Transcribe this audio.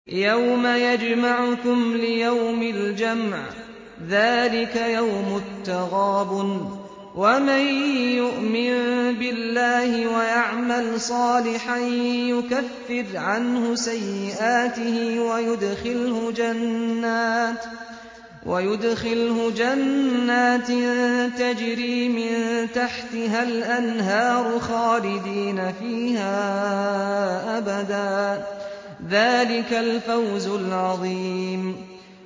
يَوْمَ يَجْمَعُكُمْ لِيَوْمِ الْجَمْعِ ۖ ذَٰلِكَ يَوْمُ التَّغَابُنِ ۗ وَمَن يُؤْمِن بِاللَّهِ وَيَعْمَلْ صَالِحًا يُكَفِّرْ عَنْهُ سَيِّئَاتِهِ وَيُدْخِلْهُ جَنَّاتٍ تَجْرِي مِن تَحْتِهَا الْأَنْهَارُ خَالِدِينَ فِيهَا أَبَدًا ۚ ذَٰلِكَ الْفَوْزُ الْعَظِيمُ